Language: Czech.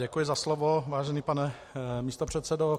Děkuji za slovo, vážený pane místopředsedo.